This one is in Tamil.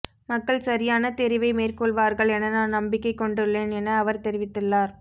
மக்கள் சரியான தெரிவை மேற்கொள்வார்கள் என நான் நம்பிக்கை கொண்டுள்ளேன் என அவர் தெரிவித்துள்ளார்